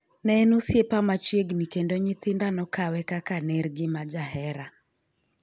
Neen osiep machiegni kendo nyithinda nokawe kaka nergi majahera.'